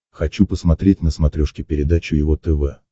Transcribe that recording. хочу посмотреть на смотрешке передачу его тв